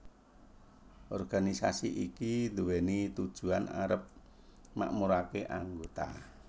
Organisasi iki nduweni tujuan arep makmurake anggota